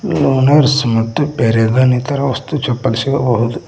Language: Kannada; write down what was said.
ಲುನರ್ಸ್ ಮತ್ತು ಪ್ಯಾರಾಗನ್ ಇತರ ವಸ್ತು ಚಪ್ಪಲಿ ಸಿಗಬಹುದು.